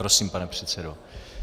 Prosím, pane předsedo.